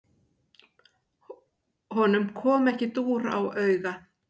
Honum kom ekki dúr á auga.